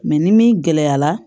ni min gɛlɛya la